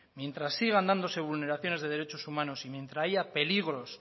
mientras sigan dándose vulneraciones de derechos humanos y mientras haya peligros